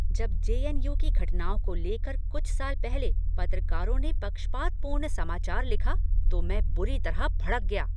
जब जे.एन.यू. की घटनाओं को लेकर कुछ साल पहले पत्रकारों ने पक्षपातपूर्ण समाचार लिखा तो मैं बुरी तरह भड़क गया।